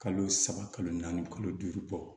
Kalo saba kalo naani kalo duuru bɔ